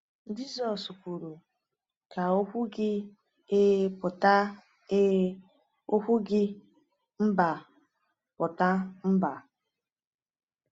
Jisọs kwuru: “Ka okwu gị ‘Ee’ pụta ‘Ee’, okwu gị ‘Mba’ pụta ‘Mba.’”